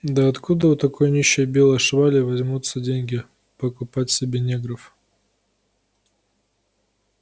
да откуда у такой нищей белой швали возьмутся деньги покупать себе негров